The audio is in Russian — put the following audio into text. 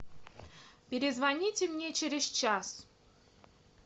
перезвоните мне через час